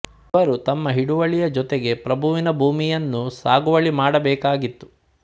ಇವರು ತಮ್ಮ ಹಿಡುವಳಿಯ ಜೊತೆಗೆ ಪ್ರಭುವಿನ ಭೂಮಿಯನ್ನೂ ಸಾಗುವಳಿ ಮಾಡಬೇಕಾಗಿತ್ತು